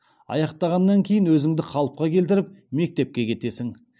аяқтағаннан кейін өзіңді қалыпқа келтіріп мектепке кетесің